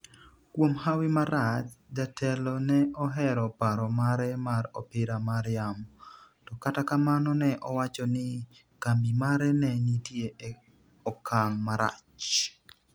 kuom hawi marach, jatelo ne ohero paro mare mar opira mar yamo, to kata kamano ne owacho ni kambi mare ne nitie e okang' marach